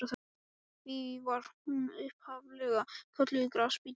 Því var hún upphaf-lega kölluð Grasbíturinn.